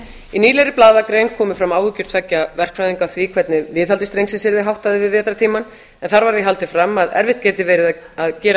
í nýlegri blaðagrein komu fram áhyggjur tveggja verkfræðinga af því hvernig viðhaldi strengsins yrði háttað yfir vetrartímann en þar var því haldið fram að erfitt geti verið að gera